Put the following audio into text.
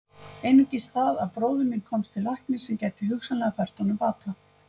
Einungis það að bróðir minn komist til læknis sem gæti hugsanlega fært honum bata.